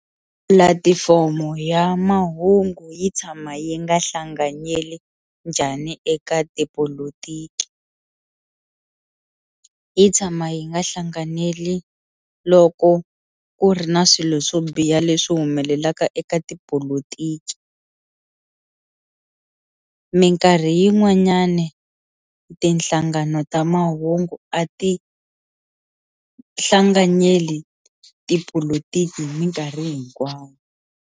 Pulatifomo ya mahungu yi tshama yi nga hlanganyeli njhani eka tipolotiki, yi tshama yi nga hlanganeli loko ku ri na swilo swo biha leswi humelelaka eka tipolotiki minkarhi yin'wanyani tinhlangano ta mahungu a ti hlanganyeli tipolotiki hi minkarhi hinkwayo.